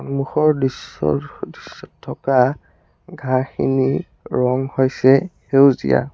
সন্মুখৰ দৃশ্যৰ দৃশ্যত থকা ঘাঁহখিনিৰ ৰঙ হৈছে সেউজীয়া।